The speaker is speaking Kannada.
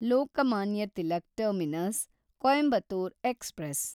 Lokmanya Tilak terminus Coimbatore express